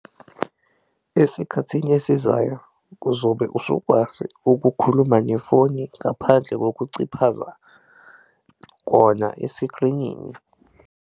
Esikhathini esizayo kuzobe usukwazi ukukhuluma nefoni ngaphandle kokuciphaza kona eskrinini.